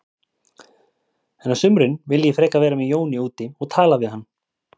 En á sumrin vil ég frekar vera með Jóni úti og tala við hann.